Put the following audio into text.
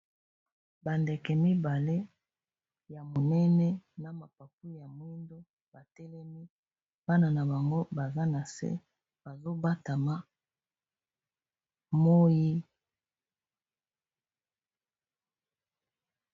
Bandeke mibale ya monene na mapapu ya mwindo batelemi bana na bango baza na se bazobatama moyi.